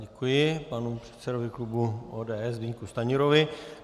Děkuji panu předsedovi klubu ODS Zbyňku Stanjurovi.